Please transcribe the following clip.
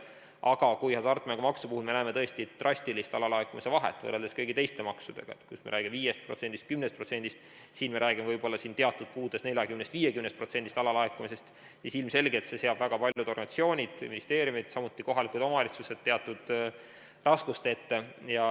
Aga kui hasartmängumaksu puhul me näeme tõesti drastilist alalaekumist võrreldes kõigi teiste maksudega, kus me räägime 5%-st, 10%-st, siin me räägime võib-olla teatud kuudel 40–50%-lisest alalaekumisest, siis ilmselgelt seab see väga paljud organisatsioonid, ministeeriumid, samuti kohalikud omavalitsused teatud raskuste ette.